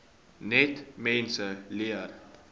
net mense leer